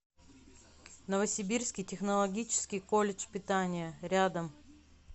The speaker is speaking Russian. новосибирский технологический колледж питания рядом